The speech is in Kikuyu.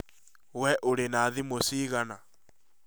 wee ũrĩ na thimũ cigana?